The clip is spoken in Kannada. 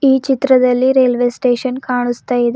ಈ ಚಿತ್ರದಲ್ಲಿ ರೈಲ್ವೆ ಸ್ಟೇಷನ್ ಕಾಣಿಸ್ತಾ ಇದೆ.